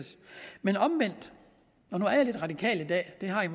men omvendt og nu er jeg lidt radikal i dag det har